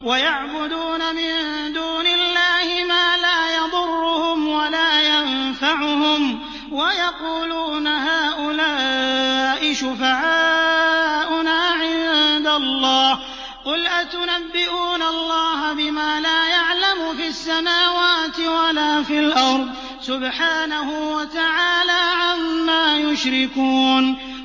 وَيَعْبُدُونَ مِن دُونِ اللَّهِ مَا لَا يَضُرُّهُمْ وَلَا يَنفَعُهُمْ وَيَقُولُونَ هَٰؤُلَاءِ شُفَعَاؤُنَا عِندَ اللَّهِ ۚ قُلْ أَتُنَبِّئُونَ اللَّهَ بِمَا لَا يَعْلَمُ فِي السَّمَاوَاتِ وَلَا فِي الْأَرْضِ ۚ سُبْحَانَهُ وَتَعَالَىٰ عَمَّا يُشْرِكُونَ